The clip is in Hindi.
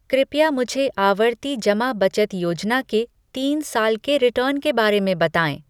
कृपया मुझे आवर्ती जमा बचत योजना के तीन साल के रिटर्न के बारे में बताएँ ।